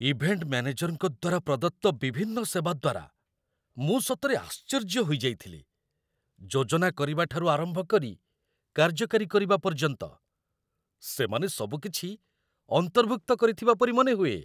Event ମ୍ୟାନେଜରଙ୍କ ଦ୍ୱାରା ପ୍ରଦତ୍ତ ବିଭିନ୍ନ ସେବା ଦ୍ୱାରା ମୁଁ ସତରେ ଆଶ୍ଚର୍ଯ୍ୟ ହୋଇଯାଇଥିଲି ଯୋଜନାକରିବା ଠାରୁ ଆରମ୍ଭ କରି କାର୍ଯ୍ୟକାରୀ କରିବା ପର୍ଯ୍ୟନ୍ତ, ସେମାନେ ସବୁକିଛି ଅନ୍ତର୍ଭୁକ୍ତ କରିଥିବା ପରି ମନେହୁଏ!